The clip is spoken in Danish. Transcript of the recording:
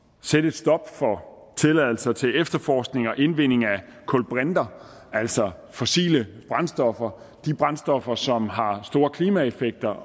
sætte et stop for tilladelser til efterforskning og indvinding af kulbrinter altså fossile brændstoffer de brændstoffer som har store klimaeffekter